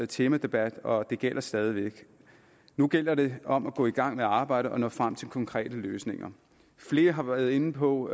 temadebat og det gælder stadig væk nu gælder det om at gå i gang med arbejdet og nå frem til konkrete løsninger flere har været inde på